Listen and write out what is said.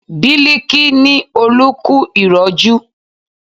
Biliki ni Olú kú ìrọ́jú